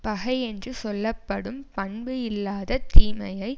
பகை என்று சொல்ல படும் பண்பு இல்லாத தீமையை